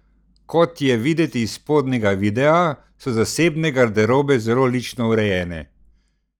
Kot je videti iz spodnjega videa, so zasebne garderobe zelo lične urejene.